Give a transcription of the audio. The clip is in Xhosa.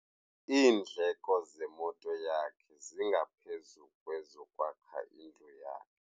Iindleko zemoto yakhe zingaphezu kwezokwakha indlu yakhe.